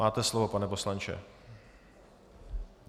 Máte slovo, pane poslanče.